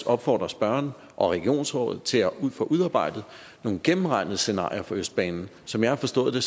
opfordre spørgeren og regionsrådet til at få udarbejdet nogle gennemregnede scenarier for østbanen som jeg har forstået det